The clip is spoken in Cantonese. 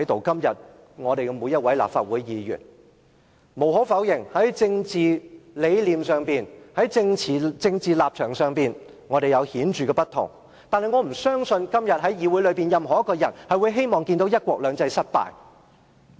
今天我們每一位立法會議員，無可否認，在政治理念及立場上有顯著的不同；但我不相信今天任何一個在議會內的人會希望看到"一國兩制"失敗。